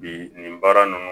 Bi nin baara ninnu